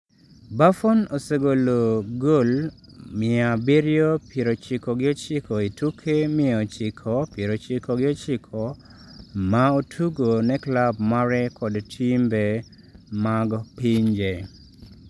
Buffon osegolo gol mia abirio pirochiko gi ochiko e tuke mia ochiko pirochiko gi ochiko ma otugo ne klab mare kod timbe mag pinye.